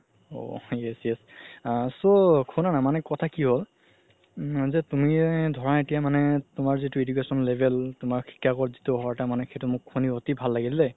ঔ yes yes আ so শুনা না মানে কথা কি হ'ল তুমি ধৰা এতিয়া মানে তুমাৰ যিতো education level তুমাৰ যিতু শুনি মোৰ অতি ভাল লাগিল দেই